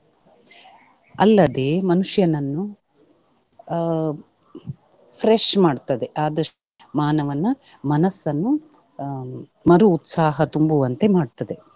ಅಲ್ಲದೆ ಮನುಷ್ಯನನ್ನು ಅಹ್ fresh ಮಾಡ್ತದೆ ಆದಷ್ಟು ಮಾನವನ ಮನಸನ್ನು ಹ್ಮ್ ಮರುಉತ್ಸಾಹ ತುಂಬುವಂತೆ ಮಾಡ್ತದೆ.